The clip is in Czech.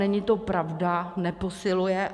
Není to pravda, neposiluje.